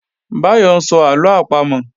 Báyọ́ ń sọ àlọ àpamọ̀